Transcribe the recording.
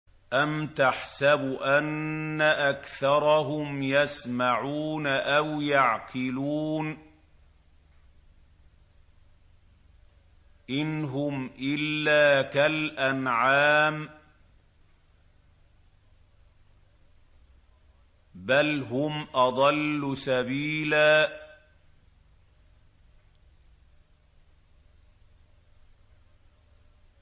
أَمْ تَحْسَبُ أَنَّ أَكْثَرَهُمْ يَسْمَعُونَ أَوْ يَعْقِلُونَ ۚ إِنْ هُمْ إِلَّا كَالْأَنْعَامِ ۖ بَلْ هُمْ أَضَلُّ سَبِيلًا